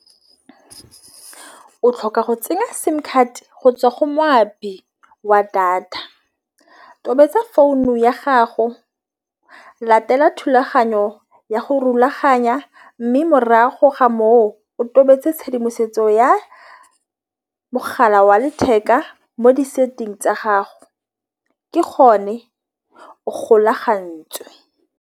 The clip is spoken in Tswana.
O tlhoka go tsenya simcard go tswa go moapi wa data. Tobetsa founu ya gago. Latela thulaganyo ya go rulaganya, mme morago ga moo o tobetse tshedimosetso ya mogala wa letheka mo di-setting tsa gago ke gone go golagantswe.